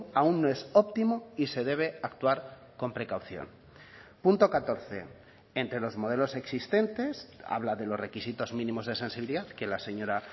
aún no es óptimo y se debe actuar con precaución punto catorce entre los modelos existentes habla de los requisitos mínimos de sensibilidad que la señora